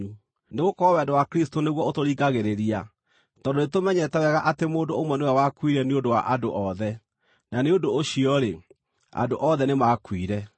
Nĩgũkorwo wendo wa Kristũ nĩguo ũtũringagĩrĩria, tondũ nĩtũmenyete wega atĩ mũndũ ũmwe nĩwe wakuire nĩ ũndũ wa andũ othe, na nĩ ũndũ ũcio-rĩ, andũ othe nĩmakuire.